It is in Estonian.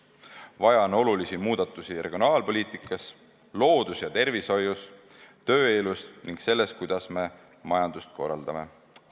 Vaja on olulisi muudatusi regionaalpoliitikas, loodus- ja tervishoius, tööelus ning selles, kuidas me majandust korraldame.